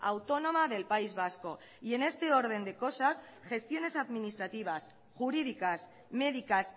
autónoma del país vasco y en este orden de cosas gestiones administrativas jurídicas médicas